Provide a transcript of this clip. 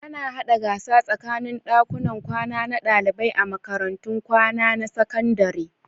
Ana haɗa gasa tsakanin ɗakunan kwana na ɗalibai a makarantun kwana na sakandare.